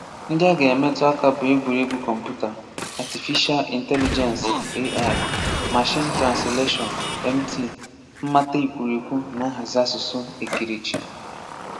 Ndị a ga-emetụ aka bụ egwuregwu kọmputa, Atịfisha Ịntelịgensị (AI), mashiin transleshọn (MT), mmata ekwurekwu na nhazi asụsụ ekerechi